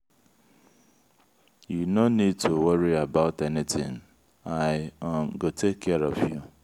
you no need to worry about anything i um go take care of you.